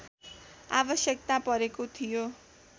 आवश्यकता परेको थियो